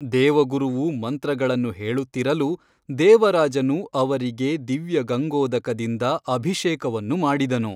ದೇವಗುರುವು ಮಂತ್ರಗಳನ್ನು ಹೇಳುತ್ತಿರಲು ದೇವರಾಜನು ಅವರಿಗೆ ದಿವ್ಯಗಂಗೋದಕದಿಂದ ಅಭಿಷೇಕವನ್ನು ಮಾಡಿದನು.